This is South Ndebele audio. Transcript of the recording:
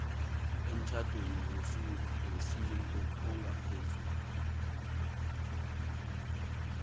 emtjhadweni wesintu ongaphezu